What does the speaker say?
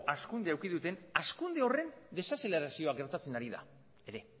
hazkundea eduki duten hazkunde horren desazelerazioa gertatzen ari da ere